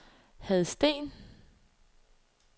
Hadsten